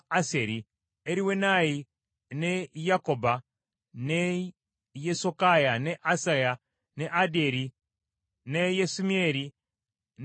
Eriwenayi, ne Yaakoba, ne Yesokaya, ne Asaya, ne Adyeri, ne Yesimyeri, ne Benaya,